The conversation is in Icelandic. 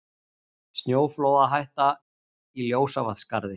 Snjóflóðahætta í Ljósavatnsskarði